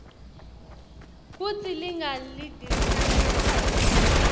kutsi linga lidhisanyani